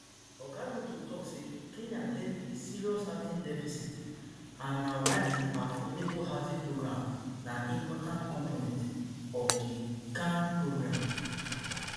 oga ruto tok say kenya get a serious housing deficit and na why di affordable housing program na important component of di kain program